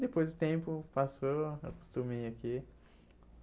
Depois o tempo passou, eu me acostumei aqui.